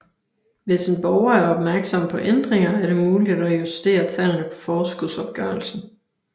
Hvis en borger er opmærksom på ændringer er det muligt at justere tallene på forskudsopgørelsen